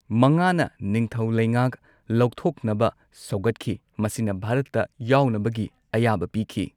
ꯃꯉꯥꯅ ꯅꯤꯡꯊꯧ ꯂꯩꯉꯥꯛ ꯂꯧꯊꯣꯛꯅꯕ ꯁꯧꯒꯠꯈꯤ, ꯃꯁꯤꯅ ꯚꯥꯔꯠꯇ ꯌꯥꯎꯅꯕꯒꯤ ꯑꯌꯥꯕ ꯄꯤꯈꯤ꯫